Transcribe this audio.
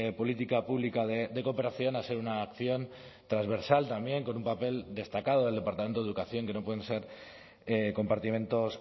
política pública de cooperación a ser una acción transversal también con un papel destacado del departamento de educación que no pueden ser compartimentos